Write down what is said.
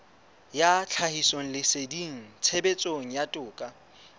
ya tlhahisoleseding tshebetsong ya toka